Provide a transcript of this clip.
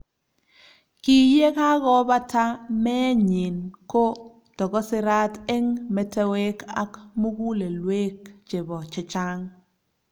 kiyekakobata meenyin ko tokosirat eng metewek ak mukulelwek chebo chechang